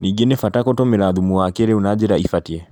Ningĩ nĩ bata gũtũmĩra thumu wa kĩrĩu na njĩra ibatie.